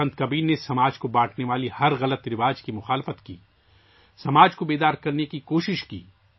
سنت کبیر نے سماج کو تقسیم کرنے والے ہر برے عمل کی مخالفت کی، سماج کو بیدار کرنے کی کوشش کی